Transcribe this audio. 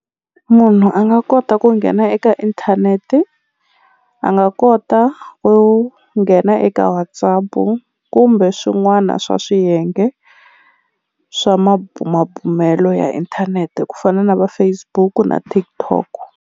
Munhu a nga kota ku nghena eka inthanete a nga kota ku nghena eka WhatsApp kumbe swin'wana swa swiyenge swa mabumabumelo ya inthanete ku fana na va Facebook na TikTok.